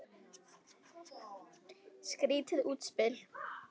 Skrýtið útspil.